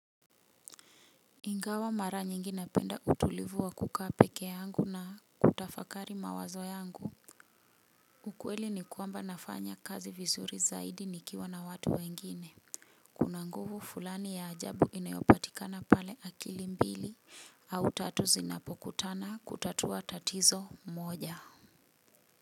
Ingawa mara nyingi napenda utulivu wa kuka peke yangu na kutafakari mawazo yangu. Ukweli ni kwamba nafanya kazi vizuri zaidi nikiwa na watu wengine kuna nguvu fulani ya ajabu inayopatikana pale akili mbili au tatu zinapokutana kutatua tatizo moja.